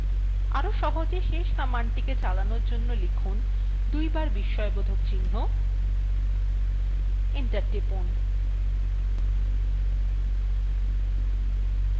আরো সহজে শেষ কমান্ডটিকে চালানোর জন্য লিখুন দুইবার বিস্ময়বোধক চিহ্ন enter টিপুন